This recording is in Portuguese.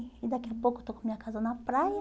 E daqui a pouco eu estou com a minha casa na praia.